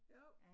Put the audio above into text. Jo